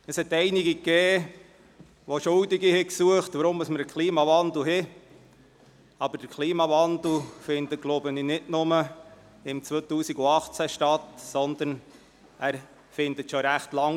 Es gab einige, die Schuldige für den Klimawandel suchten, aber dieser findet, so glaube ich, nicht nur im Jahr 2018 statt, sondern schon recht lange.